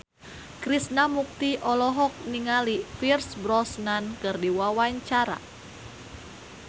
Krishna Mukti olohok ningali Pierce Brosnan keur diwawancara